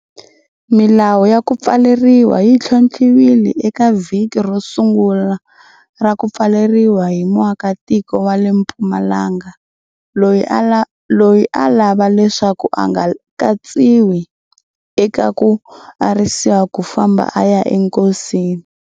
Milawu ya ku pfaleriwa yi ntlhontlhiwile eka vhiki ro sungula ra ku pfaleriwa hi muakitiko wa le Mpumalanga loyi a lava leswaku a nga katsiwi eka ku arisiwa ku famba a ya enkosini.